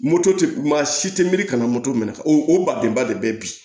Moto tɛ maa si tɛ miiri kana moto minɛ o badenba de bɛ bi